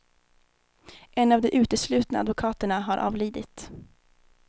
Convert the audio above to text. En av de uteslutna advokaterna har avlidit.